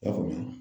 I y'a faamuya